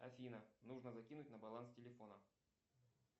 афина нужно закинуть на баланс телефона